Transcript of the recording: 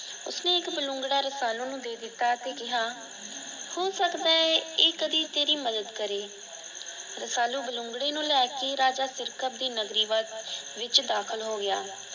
ਉਸਨੇ ਇੱਕ ਬਲੂੰਗੜਾ ਰਸਾਲੂ ਨੂੰ ਦੇ ਦਿੱਤਾ ਤੇ ਕਿਹਾ ਹੋ ਸਕਦਾ ਏ ਕਦੇ ਤੇਰੀ ਮੱਦਦ ਕਰੇ। ਰਸਾਲੂ ਬਲੂੰਗੜੇ ਨੂੰ ਲੈਕੇ ਰਾਜਾ ਸਿਰਕਤ ਦੀ ਨਗਰੀ ਵਿੱਚ ਦਾਖਲ ਹੋ ਗਿਆ।